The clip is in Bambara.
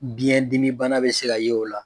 Biyɛndimi bana bɛ se ka ye o la